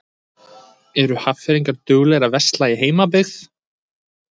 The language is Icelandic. Eru Hafnfirðingar duglegir að versla í heimabyggð?